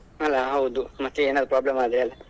ಅಲಾ ಹೌದು ಮತ್ತೆ ಏನಾದ್ರು problem ಆದ್ರೆ ಅಲಾ.